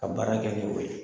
Ka baara kɛ ni o ye.